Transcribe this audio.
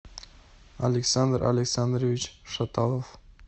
александр александрович шаталов